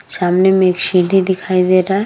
सामने में एक सिधी दिखाई दे रहा है।